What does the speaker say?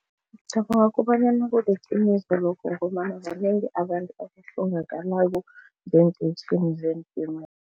Ngicabanga kobanyana kuliqiniso lokho ngombana banengi abantu abahlongakalako zeentimela.